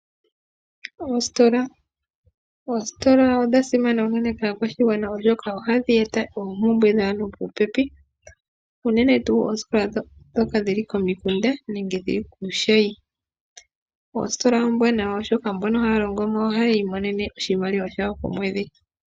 Oositola odha simana unene kaakwashigwana oshoka ohadhi eta oompumbwe dhaantu popepi, unene tuu oositola ndhoka dhili komikunda nenge dhili kuushayi. Oositola ombwanawa oshoka mbono haya longomo ohaayi imonene oshimaliwa shawo shokomwedhi